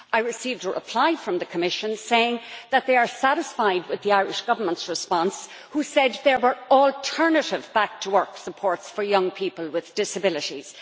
I received a reply from the Commission saying that they are satisfied with the Irish Government's response, which said there were alternative back to work supports for young people with disabilities.